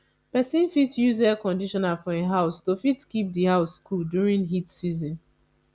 person fit use air conditioner for im house to fit keep di house cool during heat season